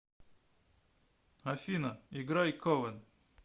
афина играй ковен